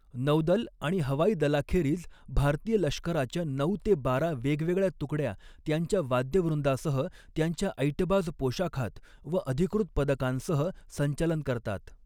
नौदल आणि हवाई दलाखेरीज भारतीय लष्कराच्या नऊ ते बारा वेगवेगळ्या तुकड्या, त्यांच्या वाद्यवृंदासह, त्यांच्या ऐटबाज पोशाखात व अधिकृत पदकांसह संचलन करतात.